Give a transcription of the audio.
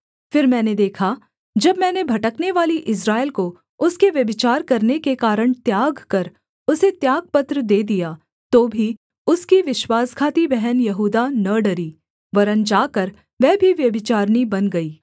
फिर मैंने देखा जब मैंने भटकनेवाली इस्राएल को उसके व्यभिचार करने के कारण त्याग कर उसे त्यागपत्र दे दिया तो भी उसकी विश्वासघाती बहन यहूदा न डरी वरन् जाकर वह भी व्यभिचारिणी बन गई